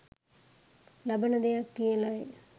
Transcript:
ලබන දෙයක් කියලයි.